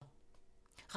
Radio 4